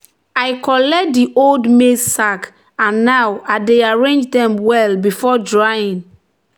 "i collect di old maize sack and now i dey arrange dem well before drying."